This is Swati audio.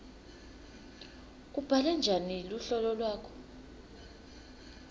ubhale njani luhlolo lwakho